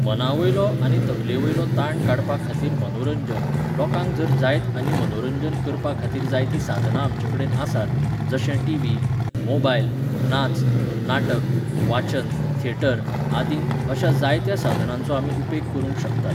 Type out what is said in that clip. मनावयलो आनी तकलेवयलो ताण काडपाखातीर मनोरंजन, लोकांक जर जायत आनी मनोरंजन करपाखातीर जायतीं साधनां आमचेकडेन आसात, जशें टिव्ही, मोबायल, नाच, नाटक, वाचन, थेटर आदीं, अश्या जायत्या साधनांचो आमी उपेग करूंक शकतात.